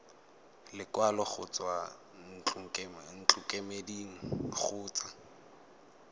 lekwalo go tswa ntlokemeding kgotsa